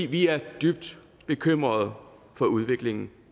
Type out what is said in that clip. vi er dybt bekymrede for udviklingen